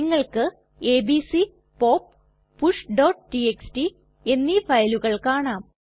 നിങ്ങൾക്ക് ABC pop pushടിഎക്സ്ടി എന്നീ ഫയലുകൾ കാണാം